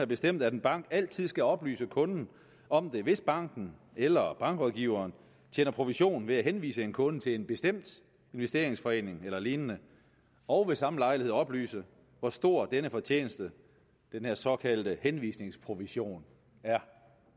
bestemt at en bank altid skal oplyse kunden om det hvis banken eller bankrådgiveren tjener provision ved at henvise en kunde til en bestemt investeringsforening eller lignende og ved samme lejlighed oplyse hvor stor denne fortjeneste den her såkaldte henvisningsprovision er